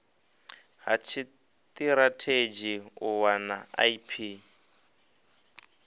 ha tshitirathedzhi u wana ip